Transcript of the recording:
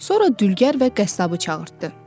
Sonra dülgər və qəssabı çağırtdı.